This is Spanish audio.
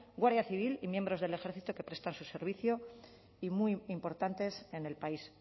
guardia civil y miembros del ejército que prestan su servicio y muy importantes en el país